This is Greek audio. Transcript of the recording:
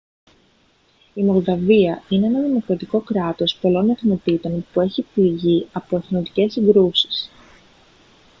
η μολδαβία είναι ένα δημοκρατικό κράτος πολλών εθνοτήτων που έχει πληγεί από εθνοτικές συγκρούσεις